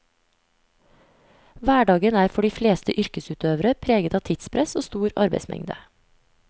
Hverdagen er for de fleste yrkesutøvere preget av tidspress og stor arbeidsmengde.